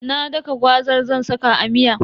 Na daka gwazar zan saka a miya.